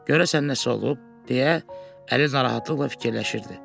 Görəsən nəsə olub, deyə Əli narahatlıqla fikirləşirdi.